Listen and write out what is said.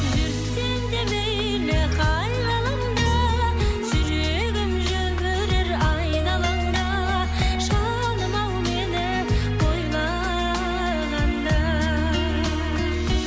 жүрсең де мейлі қай ғаламда жүрегім жүрер айналаңда жаным ау мені ойлағанда